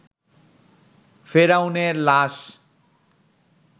ফেরাউনের লাশ